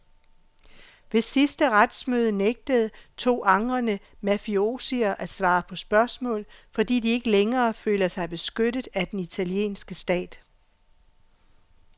Ved sidste retsmøde nægtede to angrende mafiosier at svare på spørgsmål, fordi de ikke længere føler sig beskyttet af den italienske stat.